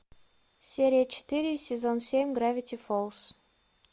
серия четыре сезон семь гравити фолз